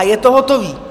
A je to hotové.